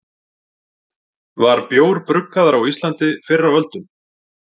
Var bjór bruggaður á Íslandi fyrr á öldum?